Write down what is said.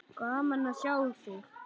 Gaman að sjá þig!